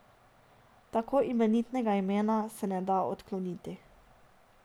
Tako imenitnega imena se ne da odkloniti.